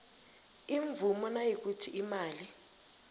imvumo nayikuthi imali